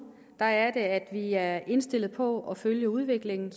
er at vi er indstillet på at følge udviklingen